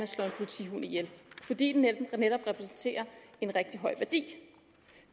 slår en politihund ihjel fordi den netop har en rigtig høj værdi